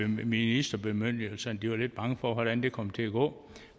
ministerbemyndigelse de var lidt bange for hvordan det kom til at gå